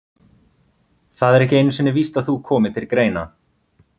Það er ekki einu sinni víst að þú komir til greina.